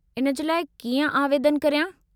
इन जे लाइ कीअं आवेदनु करियां?